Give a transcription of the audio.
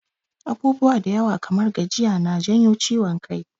Abubuwa da yawa kamar gajiya na janyo ciwon kai.